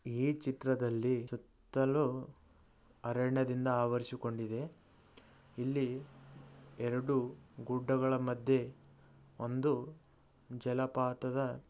ಈ ಚಿತ್ರದಲ್ಲಿ ಸುತ್ತಲೂ ಅರಣ್ಯದಿಂದ ಆವರಿಸಿಕೊಂಡಿದೆ. ಇಲ್ಲಿ ಎರಡು ಗುಡ್ಡಗಳ ಮಧ್ಯೆ ಒಂದು ಜಲಪಾತದ--